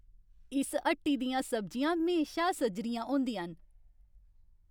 इस हट्टी दियां सब्जियां म्हेशा सजरियां होंदियां न!